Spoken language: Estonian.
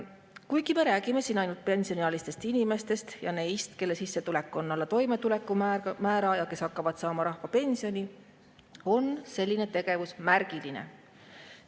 Kuigi me räägime siin ainult pensioniealistest inimestest ja neist, kelle sissetulek on alla toimetulekumäära ja kes hakkavad saama rahvapensioni, on selline tegevus märgiline.